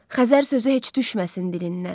Xəzər sözü heç düşməsin dilindən.